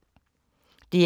DR P2